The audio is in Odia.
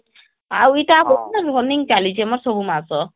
ଆଉ ଏଟା ମୋର running ଚାଲୁଛି ମୋର ସବୁ ମାସ